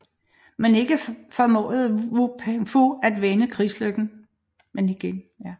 Men igen formåede Wu Peifu at vende krigslykken